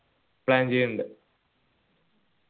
plan ചെയ്യിന്നുണ്ട്